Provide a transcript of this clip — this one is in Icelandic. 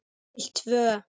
Til tvö.